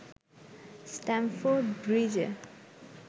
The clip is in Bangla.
স্ট্যামফোর্ড ব্রিজে